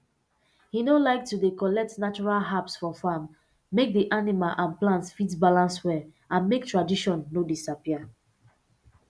he no like to dey too collect natural herbs for farm make d animal and plants fit balance well and make tradition no disappear